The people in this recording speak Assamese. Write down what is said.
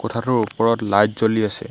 কোঠাটোৰ ওপৰত লাইট জ্বলি আছে।